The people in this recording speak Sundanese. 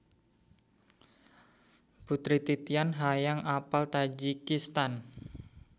Putri Titian hoyong apal Tajikistan